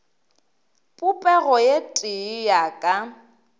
popego ye tee ya ka